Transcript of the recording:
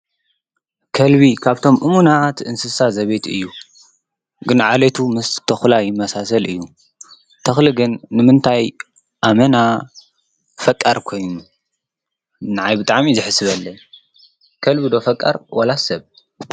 ከልቢ ካብቶም እሙናት እንስሳት ዘቤት እዩ። ግን ዓልየቱ ምስ ተኩላ ይመሳሰል እዩ። ከልቢ ግን ንምንታይ ኣመና ፈቃር ኮይኑ ንዓይ ብጣዕሚ እዩ ዘሕስበለይ ከልቢ ዶ ፈቃር ዋላ ሰብ?